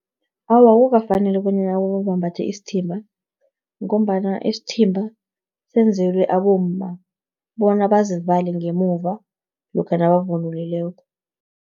Awa, akukafaneli bonyana abobaba bambathe isithimba, ngombana isithimba, senzelwe abomma, bona bazivale ngemuva lokha nabavunulileko.